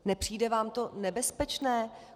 Nepřijde vám to nebezpečné?